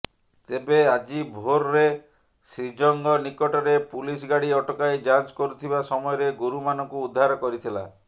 ତେବେ ଆଜି ଭୋରରେ ଶ୍ରୀଜଙ୍ଗ ନିକଟରେ ପୁଲିସ୍ ଗାଡ଼ି ଅଟକାଇ ଯାଞ୍ଚ କରୁଥିବା ସମୟରେ ଗୋରୁମାନଙ୍କୁ ଉଦ୍ଧାର କରିଥିଲା